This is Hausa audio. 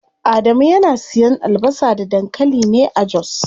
Adamu yana siyan albasa da dankali ne a jos.